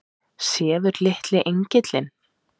Sefur litli engillinn?